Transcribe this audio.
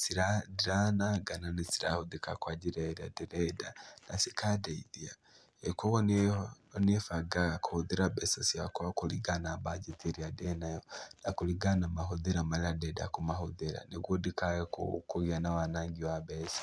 ciraa ndiraananga na nĩcirahũthĩka kwa njĩra ĩrĩa ndĩrenda na cikandeithia. Kuoguo nĩĩ bangaga kũhũthĩra mbeca ciakwa kũringana na bajeti ĩrĩa ndĩnayo na kũringana na mahũthĩro marĩa ndĩrenda kũmahũthĩra, nĩguo ndikae kũgĩa na wanaangi wa mbeca.